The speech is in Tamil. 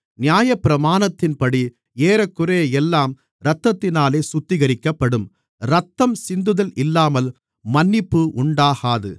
நியாயப்பிரமாணத்தின்படி ஏறக்குறைய எல்லாம் இரத்தத்தினாலே சுத்திகரிக்கப்படும் இரத்தம் சிந்துதல் இல்லாமல் மன்னிப்பு உண்டாகாது